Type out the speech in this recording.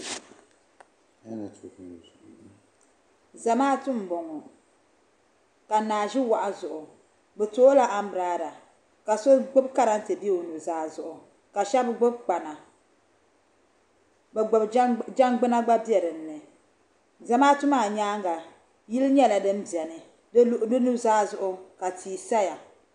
Zamaatu n bɔŋo ka naa ʒi wahu zuɣu bi to o la ambirela ka so gbubi karantɛ bɛ o nuzaa zuɣu ka shɛba gbubi kpana jɛngbuna gba bɛ din ni zamaatu maa nyaanga yili nyɛla din bɛni di nuzaa zuɣu ka tia saya.